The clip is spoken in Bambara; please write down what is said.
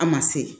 A ma se